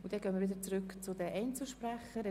Wir gehen wieder zurück zu den Einzelsprechern.